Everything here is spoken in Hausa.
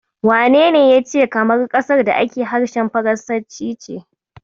Wanene ya ce Kamaru ƙasar da ake harshen faransanci ce?